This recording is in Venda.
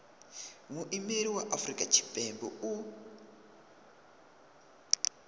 muimeli wa afrika tshipembe u